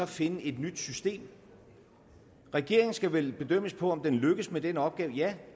finde et nyt system regeringen skal vel bedømmes på om den lykkes med den opgave og ja